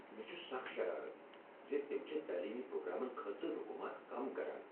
مےٚ چھ سکھ شرارتھ ز تم چھِ تعلیٖمی پروگرامن خٲطرٕ رقوٗمات كم كران ۔